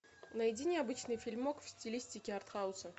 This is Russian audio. найди необычный фильмок в стилистике арт хауса